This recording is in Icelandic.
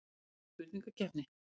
Spennandi spurningakeppni.